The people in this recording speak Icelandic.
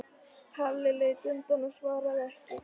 Halli leit undan og svaraði ekki.